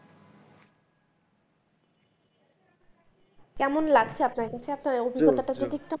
কেমন লাগছে আপনার আপনার অভিজ্ঞতা টা একটু